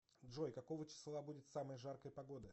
джой какого числа будет самая жаркая погода